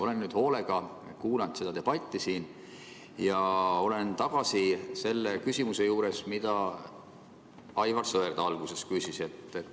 Olen nüüd hoolega kuulanud seda debatti siin ja olen tagasi selle küsimuse juures, mida Aivar Sõerd alguses küsis.